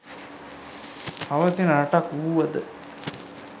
පවතින රටක් වූවද